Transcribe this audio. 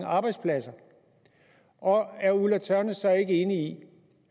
arbejdspladser og er fru ulla tørnæs så ikke enig i